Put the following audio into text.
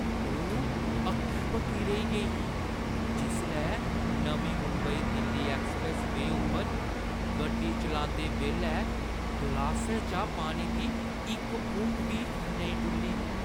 ओह् हक्की-बक्की रेही गेई ही जिसलै नमीं मुंबई-दिल्ली एक्सप्रैस्स-वेऽ उप्पर गड्डी चलांदे बेल्लै ग्लासै चा पानी दी इक फुंग बी नेईं डु'ल्ली।